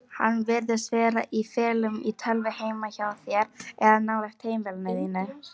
Hann virðist vera í felum í tölvu heima hjá þér eða nálægt heimili þínu.